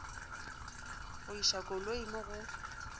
go iša koloi mo go